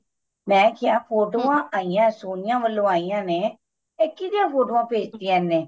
ਮੈਂ ਕਿਆ ਫੋਟੋਆਂ ਆਈਆਂ ਸੋਨੀਆ ਵੱਲੋਂ ਆਈਆਂ ਨੇ ਇਹ ਕਿਦੀਆਂ ਫੋਟੋਆਂ ਭੇਜ ਤੀਆਂ ਇਹਨੇ